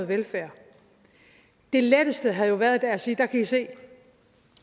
velfærd det letteste havde jo været at sige der kan i se